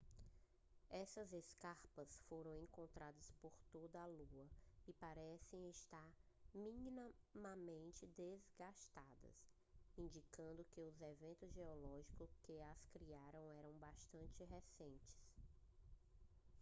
essas escarpas foram encontradas por toda a lua e parecem estar minimamente desgastadas indicando que os eventos geológicos que as criaram eram bastante recentes